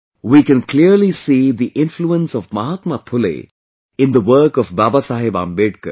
We can clearly see the influence of Mahatma Phule in the work of Babasaheb Ambedkar